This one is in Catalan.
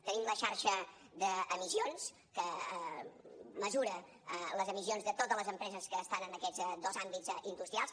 tenim la xarxa d’emissions que mesura les emissions de totes les empreses que estan en aquests dos àmbits industrials